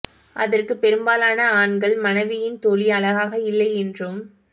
அதற்கு பெரும்பாலான ஆண்கள் மனைவியின் தோழி அழகாக இல்லை என்றும்